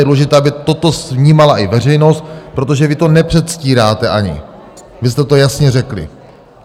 Je důležité, aby toto vnímala i veřejnost, protože vy to nepředstíráte ani, vy jste to jasně řekli.